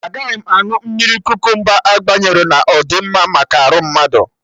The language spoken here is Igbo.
Agaghị m aṅụ mmiri kukumba agbanyerọ na ọ dị mma maka arụ mmadụ